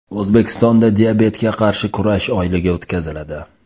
O‘zbekistonda diabetga qarshi kurash oyligi o‘tkaziladi.